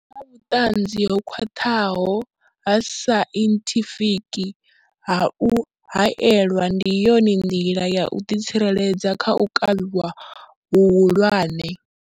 Hu na vhuṱanzi ho khwaṱhaho ha sainthifiki ha u haelwa ndi yone nḓila ya u ḓitsireledza kha u kavhiwa hu hulwane.